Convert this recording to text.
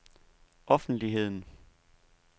offentligheden